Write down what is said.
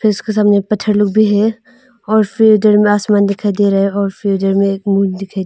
इसके सामने पत्थर लोग भी है और फिडर मे आसमान में दिखाई दे रहा है और फिडर एक मून दिखाई।